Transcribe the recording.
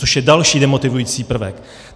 Což je další demotivující prvek.